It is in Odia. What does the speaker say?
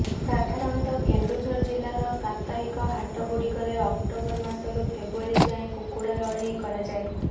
ସାଧାରଣତଃ କେନ୍ଦୁଝର ଜିଲ୍ଲାର ସାପ୍ତାହିକ ହାଟ ଗୁଡିକରେ ଅକ୍ଟୋବର ମାସରୁ ଫେବୃୟାରୀ ଯାଏଁ କୁକୁଡା ଲଢ଼େଇ କରାଯାଏ